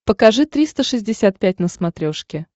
покажи триста шестьдесят пять на смотрешке